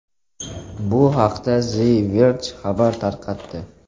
Bu haqda The Verge xabar tarqatdi .